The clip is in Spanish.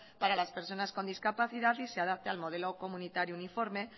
para las personas con discapacidad y se adapte al modelo comunitario uniforme